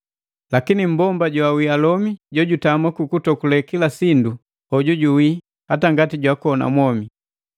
Lakini mmbomba joawii alomi jojutama kukutokule kila sindu, hoju juwi hata ngati jakona mwomi.